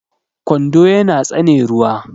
kwando yana tsane ruwa